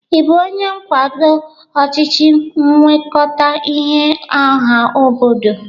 Ị bụ onye nkwado ọchịchị nwekọta ihe ọha obodo?